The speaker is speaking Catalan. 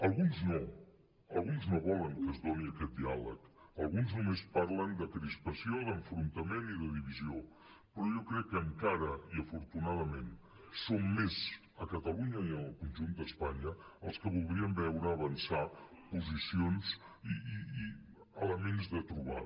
al·guns no alguns no volen que es doni aquest diàleg alguns només parlen de crispa·ció d’enfrontament i de divisió però jo crec que encara i afortunadament som més a catalunya i en el conjunt d’espanya els que voldríem veure avançar posicions i elements de trobada